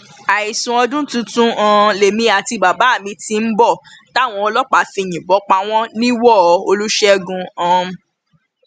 àìsùn ọdún tuntun um lèmi àti bàbá mi ti ń bọ táwọn ọlọpàá fi yìnbọn pa wọn nìwòo olùṣègùn um